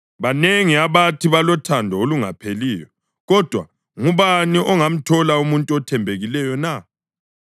Banengi abathi balothando olungapheliyo, kodwa ngubani ongamthola umuntu othembekileyo na?